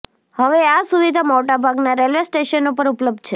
હવે આ સુવિધા મોટાભાગના રેલવે સ્ટેશનો પર ઉપલબ્ધ છે